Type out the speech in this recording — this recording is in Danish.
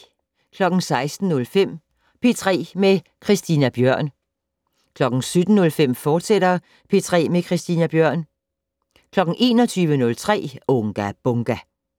16:05: P3 med Christina Bjørn 17:05: P3 med Christina Bjørn, fortsat 21:03: Unga Bunga!